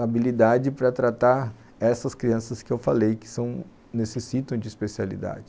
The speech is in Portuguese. habilidade para tratar essas crianças que eu falei, que são, necessitam de especialidade.